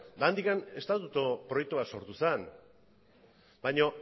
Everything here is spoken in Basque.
eta handik estatutu proiektu bat sortu zen baina